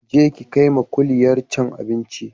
Je ki kaima kuliyar can abinci